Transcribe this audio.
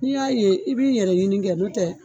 N'i y'a ye i b'i yɛrɛ ɲini kɛ n'o tɛ